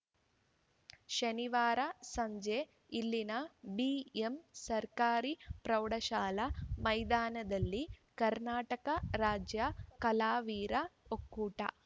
ಶನಿವಾರ ಸಂಜೆ ಇಲ್ಲಿನ ಬಿಎಂ ಸರ್ಕಾರಿ ಪ್ರೌಢಶಾಲಾ ಮೈದಾನದಲ್ಲಿ ಕರ್ನಾಟಕ ರಾಜ್ಯ ಕಲಾವಿರ ಒಕ್ಕೂಟ